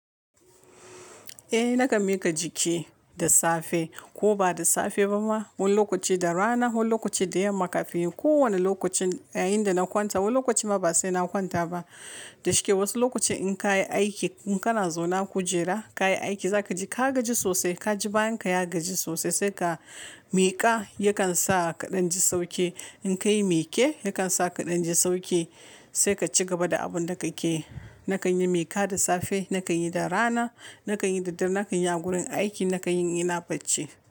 Eh, na kan miƙa jiki da safe ko ba da safe ba ma, wani lokaci da rana, wani lokaci da yamma kafin kowane lokaci yayinda na kwanta. Wani lokacin ma ba sai na kwanta ba. Da shike wasu lokuta in ka yi aiki, in kana zauna kujera, ka yi aiki, za ka ji ka gaji sosai, ka ji bayanka ya gaji sosai. Sai ka miƙa yakan sa ka ɗan ji sauki. In ka yi mika yakan sa ka ɗan ji sauki. Sai ka ci gaba da abun da ka ke yi. Na kan yi mika da safe, na kan yi da rana, na kan yi da dare, na kan yi a gurin aiki, na kan yi ina bacci.